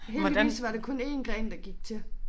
Heldigvis var det kun 1 gren der gik til